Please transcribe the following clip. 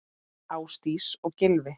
Ásdís og Gylfi.